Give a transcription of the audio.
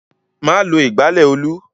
Má lo ìgbálẹ̀ Olú!